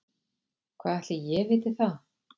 Hvað ætli ég viti það.